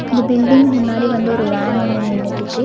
இந்த பில்டிங் முன்னாடி வந்து ஒரு வேன் ஒன்னு நின்னுட்டுக்கு.